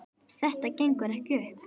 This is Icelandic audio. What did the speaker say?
Þetta gengur ekki upp.